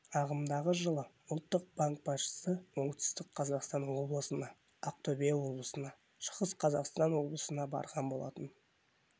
ағымдағы жылы ұлттық банк басшысы оңтүстік қазақстан облысына ақтөбе облысына шығыс қазақстан облысына барған болатын